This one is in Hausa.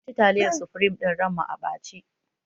Mun ci taliyar sufrim ɗin ran mu a ɓace